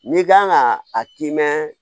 N'i kan ka a k'i mɛn